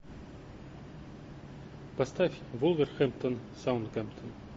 поставь вулверхэмптон саутгемптон